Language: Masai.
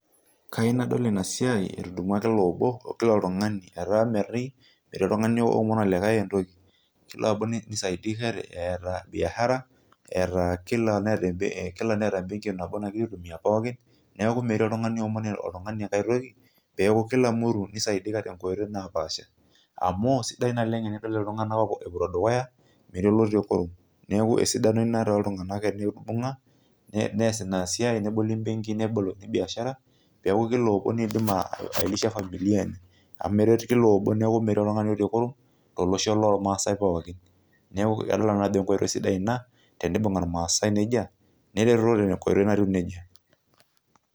kayieu nadol inasiai etudumua kila obo etaa metii oltungani omon olikae entoki kilamutu nisaidika etaa biashara, kila neeta ebenki nagira aitumiya pooki, neeku metii oltungani omon olikae entoki amu sidai naleng tinidol iltunganak epoito dukuya metaa meti olotii kurum, amu eret kila obo neeku anyor nanu tenibunga ilmaasai nejia.